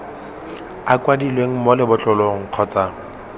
a kwadilweng mo lebotlolong kgotsa